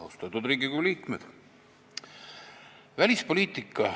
Austatud Riigikogu liikmed!